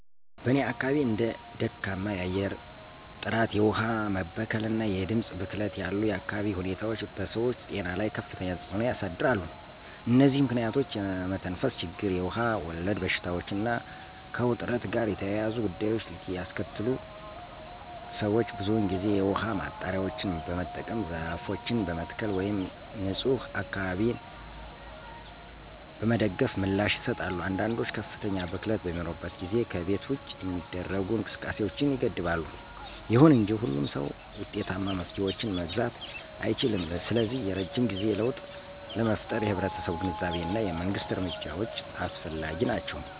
በእኔ አካባቢ እንደ ደካማ የአየር ጥራት፣ የውሃ መበከል እና የድምፅ ብክለት ያሉ የአካባቢ ሁኔታዎች በሰዎች ጤና ላይ ከፍተኛ ተጽዕኖ ያሳድራሉ። እነዚህ ምክንያቶች የመተንፈስ ችግር, የውሃ ወለድ በሽታዎች እና ከውጥረት ጋር የተያያዙ ጉዳዮችን ሊያስከትሉ ሰዎች ብዙውን ጊዜ የውሃ ማጣሪያዎችን በመጠቀም፣ ዛፎችን በመትከል ወይም ንፁህ አካባቢዎችን በመደገፍ ምላሽ ይሰጣሉ። አንዳንዶች ከፍተኛ ብክለት በሚኖርበት ጊዜ ከቤት ውጭ የሚደረጉ እንቅስቃሴዎችን ይገድባሉ። ይሁን እንጂ ሁሉም ሰው ውጤታማ መፍትሄዎችን መግዛት አይችልም, ስለዚህ የረጅም ጊዜ ለውጥ ለመፍጠር የህብረተሰቡ ግንዛቤ እና የመንግስት እርምጃዎች አስፈላጊ ናቸው.